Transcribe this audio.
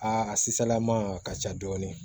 Aa a si salaman a ka ca dɔɔni